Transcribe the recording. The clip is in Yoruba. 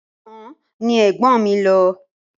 Ọ̀sán ni ẹ̀gbọ́n mi lọ.